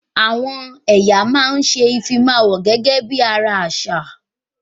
Àwọn ẹ̀yà máa ń ṣe ìfimáwọ̀ gẹ́gẹ́ bí ara àṣà